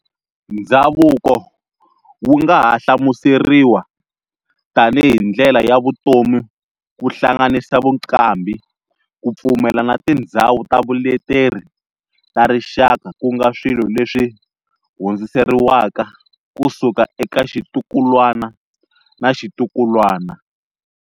Ndzhavuko wu nga ha hlamuseriwa tanihi ndlela ya vutomi kuhlanganisa vuqambhi, kupfumela na tindzhawu ta vuleteri ta rixaka kunga swilo leswi hundziseriwaka kusuka eka xitukulwana na xitukulwana.